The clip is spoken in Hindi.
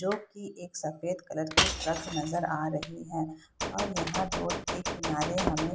जो की एक सफेद कलर की ट्रक नजर आ रही है और यहाँ रोड के किनारे हमें --